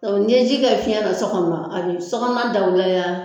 n'i ye ji kɛ fiɲɛ na so kɔnɔ a bɛ sokɔnɔna dawulaya